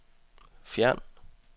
fjern